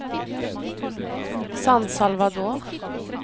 San Salvador